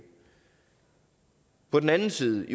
på den anden side